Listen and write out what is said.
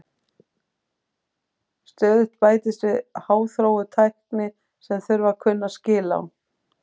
Stöðugt bætist við háþróuð tækni sem þarf að kunna skil á.